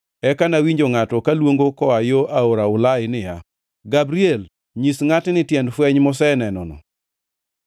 Eka nawinjo ngʼato kaluongo koa yo aora Ulai niya, “Gabriel, nyis ngʼatni tiend fweny mosenenono.”